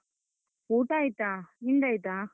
ಊಟ ಆಯ್ತ, ನಿಂದಾಯ್ತಾ?